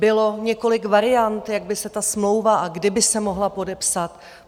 Bylo několik variant, jak by se ta smlouva a kdy by se mohla podepsat.